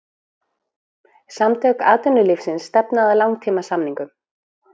Samtök atvinnulífsins stefna að langtímasamningum